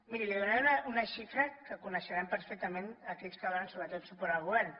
miri li donaré una xifra que coneixeran perfectament aquells que donen sobretot suport al govern